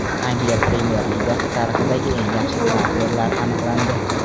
Angliya Premyer Ligasi tarixidagi eng yaxshi transferlar aniqlandi.